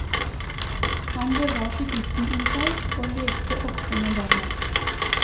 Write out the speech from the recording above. Han bevarte gutten i seg, og lekte ofte med barna.